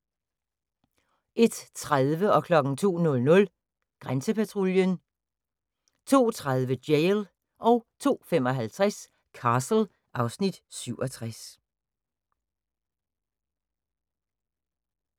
01:30: Grænsepatruljen 02:00: Grænsepatruljen 02:30: Jail 02:55: Castle (Afs. 67)